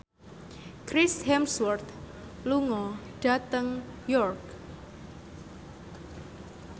Chris Hemsworth lunga dhateng York